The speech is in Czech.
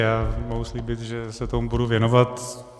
Já mohu slíbit, že se tomu budu věnovat.